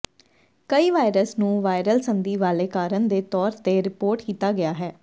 ਕਈ ਵਾਇਰਸ ਨੂੰ ਵਾਇਰਲ ਸੰਧੀ ਵਾਲੇ ਕਾਰਨ ਦੇ ਤੌਰ ਤੇ ਰਿਪੋਰਟ ਕੀਤਾ ਗਿਆ ਹੈ